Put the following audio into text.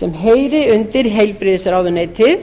sem heyri undir heilbrigðisráðuneyti